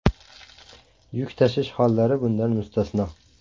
Yuk tashish hollari bundan mustasno.